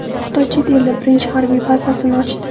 Xitoy chet elda birinchi harbiy bazasini ochdi.